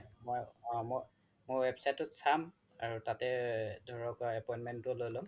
মই website তো চাম আৰু তাতে ধৰক appointment তো লই লম